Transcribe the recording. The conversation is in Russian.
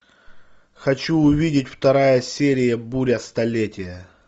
хочу увидеть вторая серия буря столетия